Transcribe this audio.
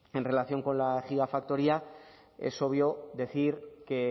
en relación con la gigafactoría es obvio decir que